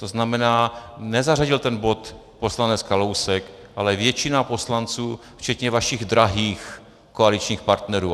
To znamená, nezařadil ten bod poslanec Kalousek, ale většina poslanců včetně vašich drahých koaličních partnerů.